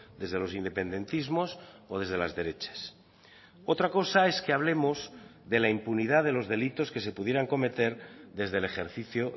desde los independentismos o desde las derechas otra cosa es que hablemos de la impunidad de los delitos que se pudieran cometer desde el ejercicio